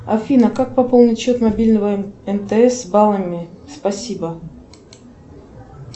афина как пополнить счет мобильного мтс баллами спасибо